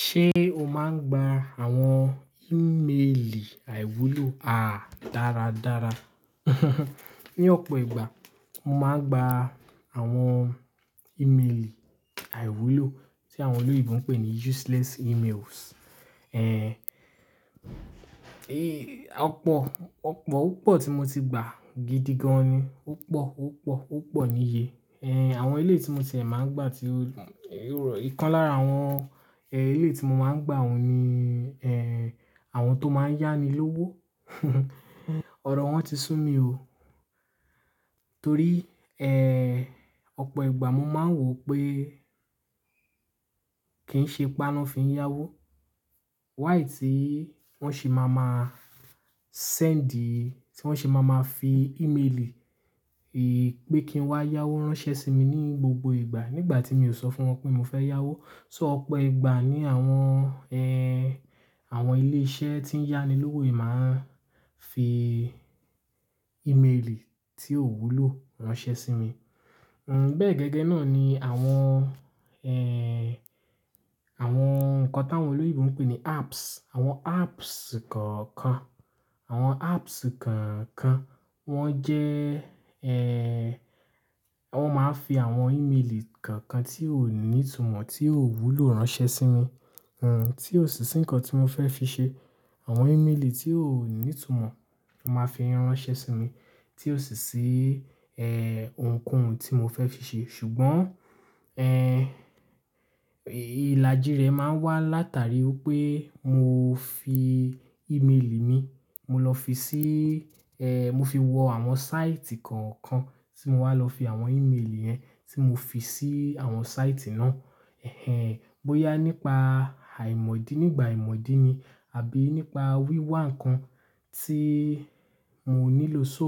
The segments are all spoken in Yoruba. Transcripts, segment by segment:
Ṣé o máa ń gba àwọn ìmelì àìwúlò? A, dáradára. Ni ọ̀pọ̀ ìgbà mo máa ń gba àwọn ìmelì àìwúlò tí àwọn olóyèbo ń pè ní useless emails. Eh, ọ̀pọ̀, ọ̀pọ̀, púpọ̀ tí mo ti gbà gidi gan ni. Púpọ̀, púpọ̀, púpọ̀ níye. Eh, àwọn ilé tí mo ṣẹ̀ máa ń gbà tí ó ìkan lára àwọn, eh, elé yi tí mo máa ń gbà òun ni, eh, àwọn tó máa ń yá mi lówó. Ọ̀rọ̀ wọ́n ti sú mi ò. Torí, eh, ọ̀pọ̀ ìgbà mo máa ń wò pé kín ṣe ipa ná fin ya wó. Wáì tí wọ́n sì máa máa send, tí wọ́n sì máa máa fi ìmelì, eh, pé kí n wá yáwó ránṣẹ́ sí mi ní gbogbo ìgbà nígbà tí mi ò sọ fún wọn pé mo fẹ́ yáwó. So ọ̀pọ̀ ìgbà ni àwọn, eh, àwọn ilé iṣẹ́ tí ń yá ni lówó yìí máa ń fi ìmelì tí ò wúlò ránṣẹ́ sí mi. Hmm, bẹ́ẹ̀ gẹ́gẹ́ náà ni àwọn, eh, àwọn nǹkan tí àwọn olóyèbo ń pè ní apps, àwọn apps kọ̀ọ̀kan, àwọn apps kọ̀ọ̀kan wọ́n jẹ́, eh, wọ́n máa ń fi àwọn ìmelì kọ̀ọ̀kan tí ò ní ìtumọ̀, tí ò wúlò ránṣẹ́ sí mi. Hmm, tí ò sí ní nǹkan tí mo fẹ́ fi ṣe. Àwọn ìmelì tí ò ní ìtumọ̀ máa ń fi ránṣẹ́ sí mi tí ò sì sí, eh, ohunkóhun tí mo fẹ́ fi ṣe. Ṣùgbọ́n, eh, ìlàjì rẹ̀ máa ń wá látàrí pé mo fi ìmelì mi, mo lọ fi sí, eh, mo fi wọ àwọn sáìtì kọ̀ọ̀kan tí mo wá lọ fi àwọn ìmelì yẹn tí mo fi sí àwọn sáìtì náà. Eh, bóyá nípa àìmọ̀ dí nígbà ìmọ̀ dí ni àbí nípa wíwá nǹkan tí mo nílò. So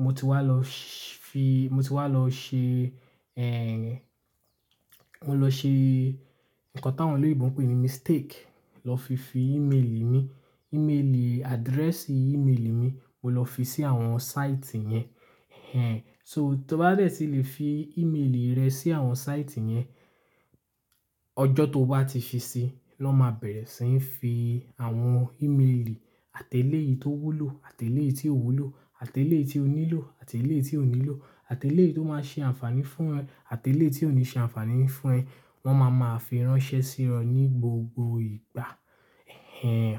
mo ti wá lọ fi-- mo ti wá lọ ṣe, eh, mo lọ ṣe nǹkan tí àwọn olóyèbo ń pè ní mistake lọ fi fi ìmelì mi, ìmelì address ìmelì mi mo lọ fi sí àwọn sáìtì yẹn. Eh, so tí o bá dẹ̀ tí lè fi ìmelì rẹ sí àwọn sáìtì yẹn, ọjọ́ tó bá ti ṣe é lọ́ máa bẹ̀rẹ̀ sí ń fi àwọn ìmelì àtẹ́lé yìí tó wúlò, àtẹ́lé yìí tí ò wúlò, àtẹ́lé yìí tí o nílò, àtẹ́lé yìí tí ò nílò, àtẹ́lé yìí tó máa ṣe àǹfààní fún ẹ, àtẹ́lé yìí tí ò ní ṣe àǹfààní fún ẹ, wọ́n máa máa fi ránṣẹ́ sí ọ ní gbogbo ìgbà. Eh,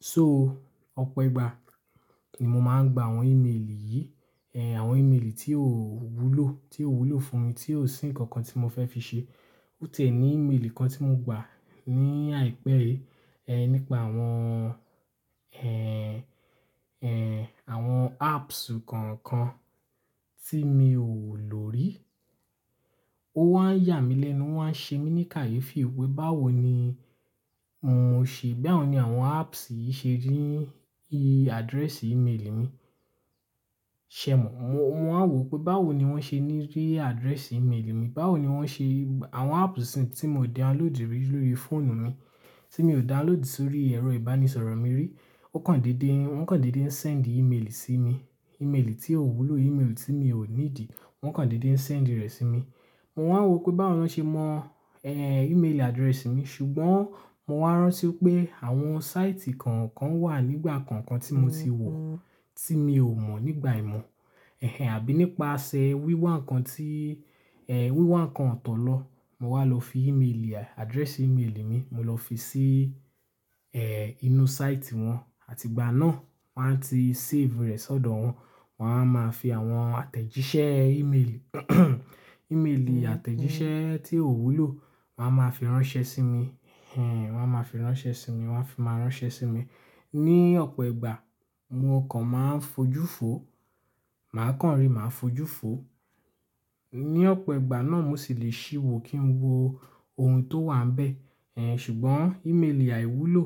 so ọ̀pọ̀ ìgbà ni mo máa ń gba àwọn ìmelì yìí, eh, àwọn ìmelì tí ò wúlò, tí ò wúlò fún mi, tí ò sí nǹkan kan tí mo fẹ́ fi ṣe. Óti e ní ìmelì kan tí mo gba ní àìpẹ́ẹ́rẹ́, eh, nípa àwọn, eh, eh, àwọn apps kọ̀ọ̀kan tí mi ò lò rí. Ó wá ń yà mí lẹ́nu, wá ń ṣe mí ní kàyéfì wípé báwo ni mò ń ṣe, báwo ni àwọn apps yìí ṣe rí address ìmelì mi. Ṣẹ̀ mọ́, mo máa wò pé báwo ni wọ́n ṣe rí address ìmelì mi. Báwo ni wọ́n ṣe Àwọn apps tí mo download rí lórí fóònù mi, tí mo download sórí ẹ̀rọ ìbánisọ̀rọ̀ mi rí, ó kàn dédé, wọ́n kàn dédé ń send ìmelì sí mi. Ìmelì tí ò wúlò, email tí mi ò ní dì, wọ́n kàn dédé ń send rẹ̀ sí mi. Mo máa wò pé báwo lọ́ ṣe mọ, eh, email address mi. Ṣùgbọ́n mo wá rántí pé àwọn sáìtì kọ̀ọ̀kan wà nígbà kọ̀ọ̀kan tí mo ti wò tí mi ò mọ̀ nígbà ìmọ̀. Eh, àbí nípasẹ̀ wíwá nǹkan tí, eh, wíwá nǹkan ọ̀tọ̀ lọ mo wá lọ fi email, address ìmelì mi mo lọ fi sí, eh, inú sáìtì wọn, àti ìgbà náà wọ́n á ti save rẹ̀ sọ́dọ̀ wọn. Wọn á máa fi àwọn àtẹ̀jíṣẹ́ email, ìmelì àtẹ̀jíṣẹ́ tí ò wúlò wọ́n á máa fi ránṣẹ́ sí mi. Eh, wọ́n á máa fi ránṣẹ́ sí mi, wọ́n á fi máa ránṣẹ́ sí mi. Ni ọ̀pọ̀ ìgbà mo kàn máa ń fojú fò, màá kàn rí, màá fojú fò. Ni ọ̀pọ̀ ìgbà náà mo sì lè ṣíwọ́ kí n wo ohun tó wà bẹ́ẹ̀. Eh, ṣùgbọ́n ìmelì àìwúlò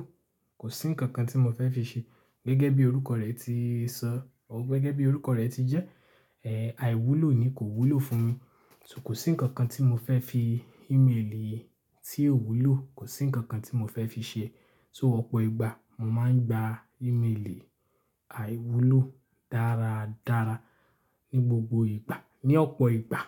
kò sí nǹkan kan tí mo fẹ́ fi ṣe. Gẹ́gẹ́ bí orúkọ rẹ̀ ti sọ, ọ gẹ́gẹ́ bí orúkọ rẹ̀ ti jẹ́, eh, àìwúlò ni kò wúlò fún mi. So kò sí nǹkan kan tí mo fẹ́ fi email tí ò wúlò, kò sí nǹkan kan tí mo fẹ́ fi ṣe. So ọ̀pọ̀ ìgbà mo máa ń gba ìmelì àìwúlò dáradára ní gbogbo ìgbà, ní ọ̀pọ̀ ìgbà.